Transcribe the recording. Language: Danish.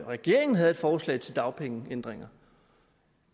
regeringen havde et forslag til dagpengeændringer